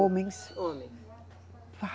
Homens. Homens.